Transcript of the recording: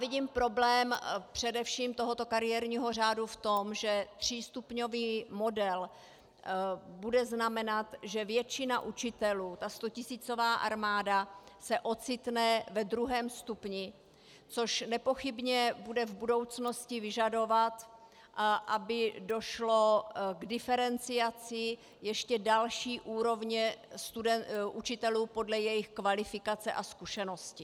Vidím problém především tohoto kariérního řádu v tom, že třístupňový model bude znamenat, že většina učitelů, ta stotisícová armáda, se ocitne ve druhém stupni, což nepochybně bude v budoucnosti vyžadovat, aby došlo k diferenciaci ještě další úrovně učitelů podle jejich kvalifikace a zkušenosti.